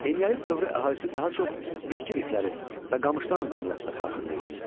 Eneolit dövrü əhalisi daha çox bitki lifləri və qamışdan məmulatlar hazırlayırdı.